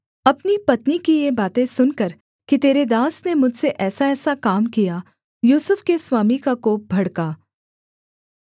अपनी पत्नी की ये बातें सुनकर कि तेरे दास ने मुझसे ऐसाऐसा काम किया यूसुफ के स्वामी का कोप भड़का